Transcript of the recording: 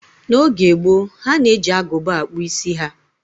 N'oge gboo, ha na-eji agụba akpụ isi ha